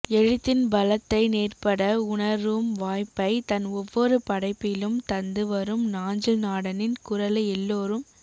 எழுத்தின் பலத்தை நேர்பட உணரும் வாய்ப்பை தன் ஒவ்வொரு படைப்பிலும் தந்து வரும் நாஞ்சில்நாடனின் குரலை எல்லோரும்